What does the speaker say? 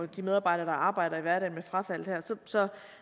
de medarbejdere der arbejder i hverdagen med frafald her så